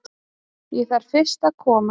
Ég þarf fyrst að koma